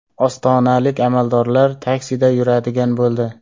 Ostonalik amaldorlar taksida yuradigan bo‘ldi.